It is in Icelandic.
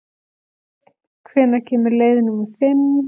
Steinn, hvenær kemur leið númer fimm?